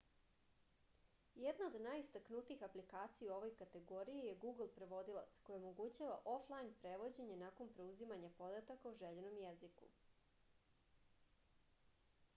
jedna od najistaknutijih aplikacija u ovoj kategoriji je google prevodilac koja omogućava oflajn prevođenje nakon preuzimanja podataka o željenom jeziku